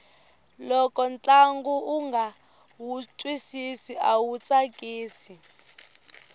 loko ntlangu unga wu twisisi awu tsakisi